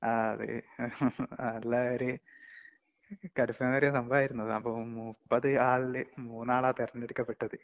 നല്ല ഒരു കരിഷമേറിയ സംഭവമായിരുന്നു അത്. അപ്പം മുപ്പതു ആളില് മൂന്നാള തെരഞ്ഞെടുക്കപ്പെട്ടത്.